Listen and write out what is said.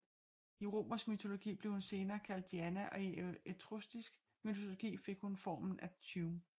I romersk mytologi blev hun senere kaldt Diana og i etruskisk mytologi fik hun formen Artume